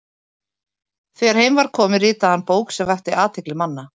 þegar heim var komið ritaði hann bók sem vakti athygli manna